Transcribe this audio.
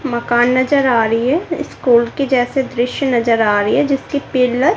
मकान नजर आ रही है स्कूल के जैसे दृश्य नजर आ रही है जिसकी पिलर --